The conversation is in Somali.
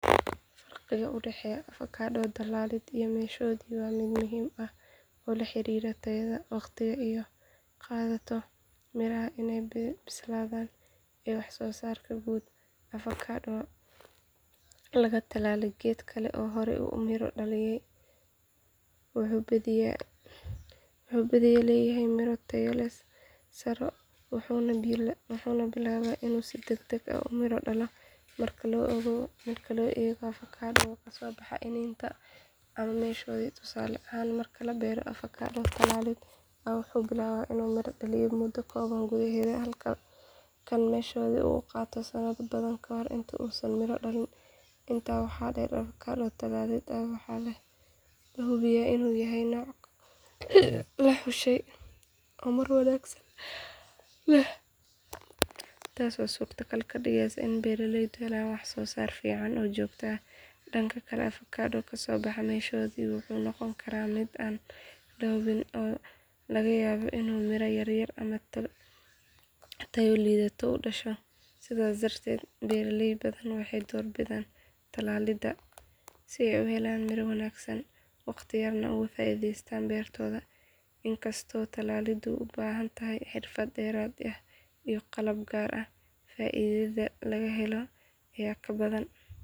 Faraqa u dhexeeya avokado tallaalid iyo meeshoodii waa mid muhiim ah oo la xiriira tayada, waqtiga ay qaadato miraha inay bislaadaan, iyo wax soo saarka guud. Avokado laga tallaalay geed kale oo horey u miro dhaliyay wuxuu badiyaa leeyahay miro tayo sare leh wuxuuna bilaabaa inuu si degdeg ah u midho dhaliyo marka loo eego avokado ka soo baxay iniin ama meeshoodii. Tusaale ahaan marka la beero avokado tallaalid ah wuxuu bilaabaa inuu miro dhaliyo muddo kooban gudaheed halka kan meeshoodii uu qaato sanado badan ka hor inta uusan miro dhalin. Intaa waxaa dheer avokado tallaalid ah waxaa la hubiyaa inuu yahay nooc la xushay oo miro wanaagsan leh, taasoo suurtagal ka dhigeysa in beeraleydu helaan wax soo saar fiican oo joogto ah. Dhanka kale avokado kasoo baxay meeshoodii wuxuu noqon karaa mid aan la hubo oo laga yaabo in miro yar ama tayo liidata uu dhasho. Sidaas darteed beeraley badan waxay door bidaan tallaalid si ay u helaan miro wanaagsan, waqti yarna uga faa’iideystaan beertooda. Inkastoo tallaaliddu u baahan tahay xirfad dheeraad ah iyo qalab gaar ah, faa’iidada laga helo ayaa ka badan.